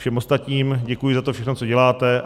Všem ostatním děkuji za to všechno, co děláte.